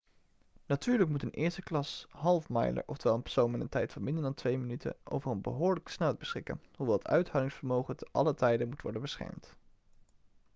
natuurlijk moet een eersteklas half-miler oftewel een persoon met een tijd van minder dan twee minuten over een behoorlijke snelheid beschikken hoewel het uithoudingsvermogen te allen tijde moet worden beschermd